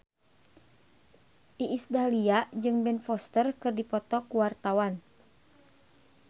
Iis Dahlia jeung Ben Foster keur dipoto ku wartawan